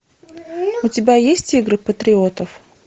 у тебя есть игры патриотов